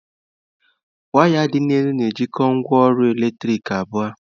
Waya dị n'elu na-ejikọta ngwaọrụ eletrik abụọ.